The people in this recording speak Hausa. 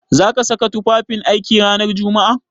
Za ka saka tufafin aiki ranar Jumma'a?